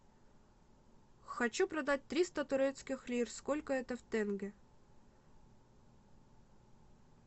хочу продать триста турецких лир сколько это в тенге